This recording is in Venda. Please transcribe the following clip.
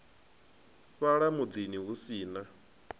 fhala mudini hu si na